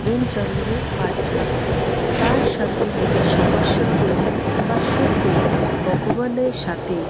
মম চালিকে প্রার্থনা করে তার সাথে নিজের সমস্যা গুলো বা সুখ গুলো ভগবানের সাথে--